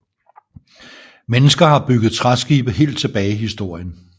Mennesker har bygget træskibe helt tilbage i historien